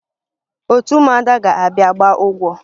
Otu ụmụada ga-abịa gbaa ụgwọ